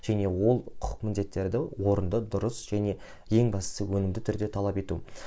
және ол құқық міндеттерді орынды дұрыс және ең бастысы өнімді түрде талап ету